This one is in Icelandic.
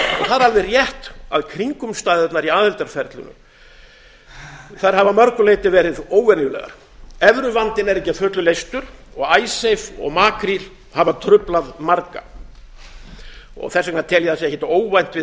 það er alveg rétt að kringumstæðurnar í aðildarferlinu hafa að mörgu leyti verið óvenjulegar evruvandinn er ekki að fullu leystur og icesave og makríll hafa truflað marga þess vegna tel ég að það sé ekkert óvænt við